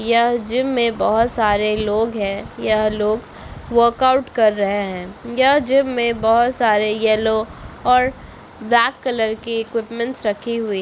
यह जिम में बहुत सारे लोग हैं यह लोग वर्कआउट कर रहे हैं यह जिम में बहुत सारे येलो और ब्लैक कलर की इक्विपमेंट रखी हुई।